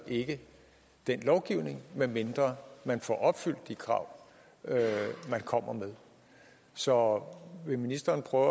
den lovgivning medmindre man får opfyldt de krav man kommer med så vil ministeren prøve